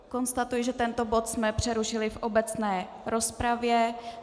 Konstatuji, že tento bod jsme přerušili v obecné rozpravě.